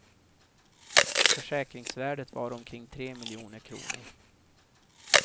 Försäkringsvärdet var omkring tre miljoner kronor.